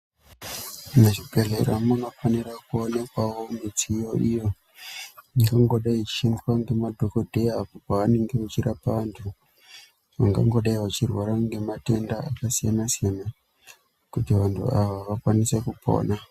Muzvibhehleya munofanirawo kuonekwa midziyo iyo ingangodai ichishandiswa nemadhokodheya pavanenge vachirapa vanhu vangangodai vachirwara nematenda akasiyanasiyana kuti vantu ava vakwanise kupona.